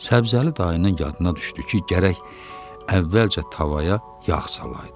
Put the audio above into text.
Səbzəli dayının yadına düşdü ki, gərək əvvəlcə tavaya yağ salaydı.